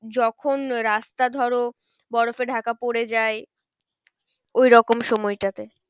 যখন রাস্তা ধরো বরফে ঢাকা পরে যায় ওইরকম সময়টাতে